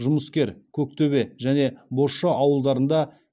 жұмыскер көктөбе және бозша ауылдарында